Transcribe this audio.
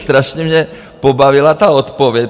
Strašně mě pobavila ta odpověď.